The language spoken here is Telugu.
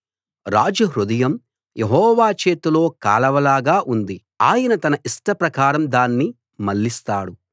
రాజు హృదయం యెహోవా చేతిలో కాలవల్లాగా ఉంది ఆయన తన ఇష్ట ప్రకారం దాన్ని మళ్ళిస్తాడు